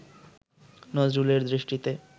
নজরুলের দৃষ্টিতে